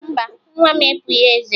Mba, nwa m epughi eze